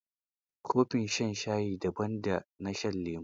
Kofin shan shayi, daban da na shan lemo.